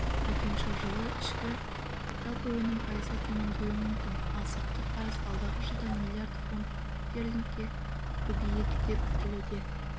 айтуынша жылы ішкі жалпы өнім пайызға төмендеуі мүмкін ал сыртқы қарыз алдағы жылда миллиард фунд стерлингке көбейеді деп күтілуде